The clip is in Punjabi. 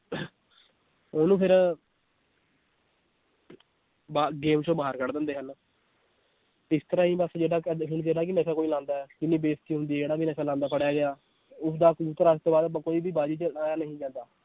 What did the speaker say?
ਉਹਨੂੰ ਫਿਰ ਬਾ~ game ਚੋਂ ਬਾਹਰ ਕੱਢ ਦਿੰਦੇ ਹਨ ਇਸ ਤਰ੍ਹਾਂ ਹੀ ਬਸ ਜਿਹੜਾ ਹੁਣ ਜਿਹੜਾ ਨਸ਼ਾ ਕੋਈ ਲਾਉਂਦਾ ਹੈ ਇੰਨੀ ਬੇਇਜਤੀ ਹੁੰਦੀ, ਜਿਹੜਾ ਵੀ ਨਸ਼ਾ ਲਾਉਂਦਾ ਫੜਿਆ ਗਿਆ ਉਸਦਾ ਕਬੂਤਰ ਅੱਜ ਤੋਂ ਬਾਅਦ ਬ~ ਕੋਈ ਵੀ ਬਾਜੀ 'ਚ ਉਡਾਇਆ ਨਹੀਂ ਜਾਂਦਾ।